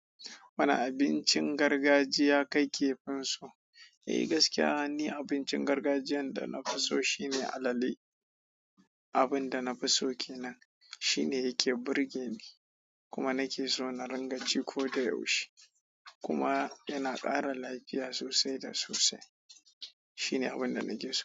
Wane abincin gargajiya ka kefin so? Eh gaskiya ni abincin gargajiyan da na fi so shine alale. Abin da na fi so kenan shine yake burge ni kuma nake so na ringa ci koda yaushe kuma yana ƙara lafiya sosai da sosai. Shi ne abin da na ke so.